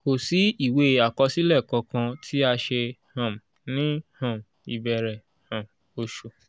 kò sì ìwé àkọsílẹ̀ kankan tí a ṣe um ní um ìbẹ̀rẹ̀ um oṣù